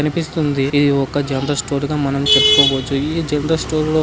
కనిపిస్తుంది ఇది ఒక జనరల్ స్టోర్ గా మనం చెప్పుకోవచ్చు ఈ జనరల్ స్టోర్ లో--